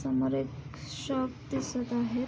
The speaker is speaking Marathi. समोर एक शॉप दिसत आहेत.